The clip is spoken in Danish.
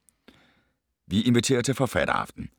Vi inviterer til forfatteraften